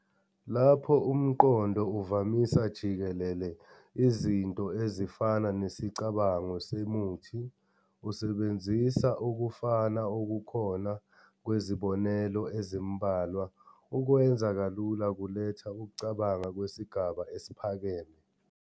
Lapho umqondo uvamisa jikelele Izinto ezifana nesicabango semuthi, usebenzisa ukufana okukhona kwezibonelo ezimbalwa, ukwenza kalula kuletha ukucabanga kwesigaba esiphakeme.